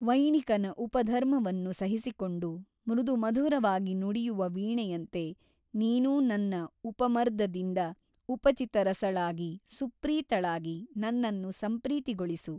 ವೈಣಿಕನ ಉಪಧರ್ಮವನ್ನು ಸಹಿಸಿಕೊಂಡು ಮೃದು ಮಧುರವಾಗಿ ನುಡಿಯುವ ವೀಣೆಯಂತೆ ನೀನೂ ನನ್ನ ಉಪಮರ್ದದಿಂದ ಉಪಚಿತರಸಳಾಗಿ ಸುಪ್ರೀತಳಾಗಿ ನನ್ನನ್ನು ಸಂಪ್ರೀತಿಗೊಳಿಸು.